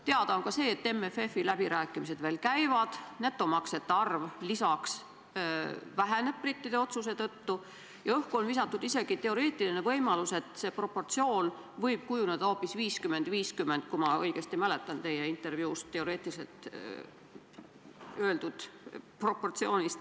Teada on ka see, et MFF-i läbirääkimised veel käivad, netomaksjate arv brittide otsuse tõttu väheneb ja õhku on visatud isegi teoreetiline võimalus, et proportsiooniks võib kujuneda hoopis 50 : 50 – kui ma teie intervjuust õigesti mäletan.